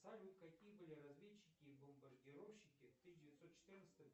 салют какие были разведчики бомбардировщики в тысяча девятьсот четырнадцатом